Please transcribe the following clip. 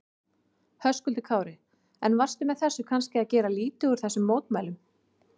Höskuldur Kári: En varstu með þessu kannski að gera lítið úr þessum mótmælum?